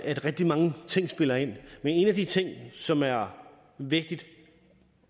at rigtig mange ting spiller ind men en af de ting som er vigtige